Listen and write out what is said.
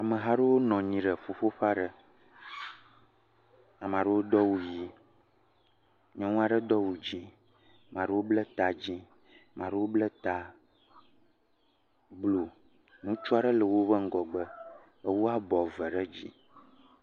Ameha aɖewo nɔ anyi ɖe eƒuƒoƒe aɖe. Ame aɖewo do awu ʋi. Nyɔnu aɖe do awu dzi. Ame aɖewo be ta dzi. Ame aɖewo ble ta blu. Ŋutsu aɖewo nɔ anyi ɖe wo ŋgɔgbe ewu abɔ eve ɖe dzi.